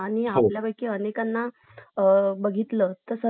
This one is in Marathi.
दिवसभर meeting नसते ना आपण आपल काम करता आपण घरी आपण वेळ देऊशकतो हा एक फायदा आहे hybrid work चा